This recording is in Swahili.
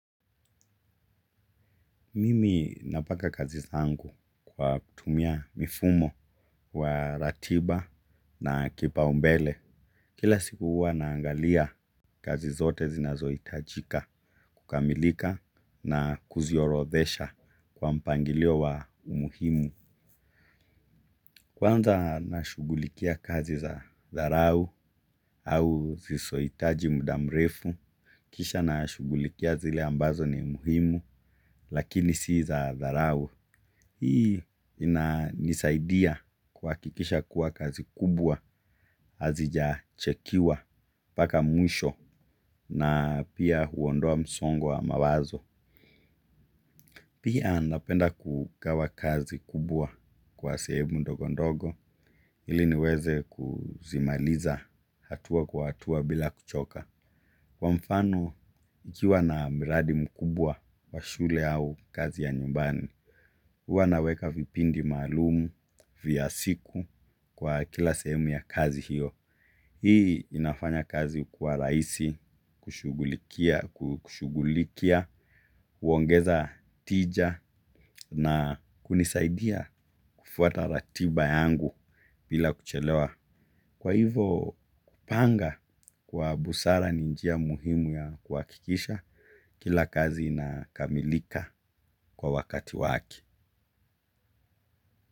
Mimi napaka kazi zangu kwa kutumia mifumo wa ratiba na kipa umbele. Kila siku uwa naangalia kazi zote zinazo itajika, kukamilika na kuzi orothesha kwa mpangilio wa umuhimu. Kwanza na shugulikia kazi za dharau au zisoitaji mudamrefu, kisha na shugulikia zile ambazo ni umuhimu, lakini si za dharau. Hii ina nisaidia kuhakikisha kuwa kazi kubwa azijachekiwa paka mwisho na pia huondoa msongo wa mawazo. Pia napenda kugawa kazi kubwa kwa sehemu ndogondogo ili niweze kuzimaliza hatua kwa hatua bila kuchoka. Kwa mfano, ikiwa na miradi mkubwa wa shule au kazi ya nyumbani, uwa naweka vipindi malumu, vya siku kwa kila sehemu ya kazi hiyo. Hii inafanya kazi kuwa raisi, kushugulikia, uongeza tija na kunisaidia kufuata ratiba yangu bila kuchelewa. Kwa hivo, panga kwa busara ninjia muhimu ya kuwakikisha kila kazi na kamilika kwa wakati waki.